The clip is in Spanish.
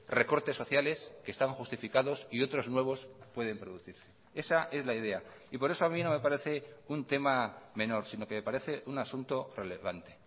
recortes sociales que están justificados y otros nuevos pueden producirse esa es la idea y por eso a mí no me parece un tema menor sino que me parece un asunto relevante